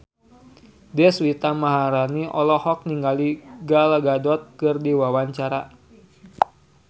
Deswita Maharani olohok ningali Gal Gadot keur diwawancara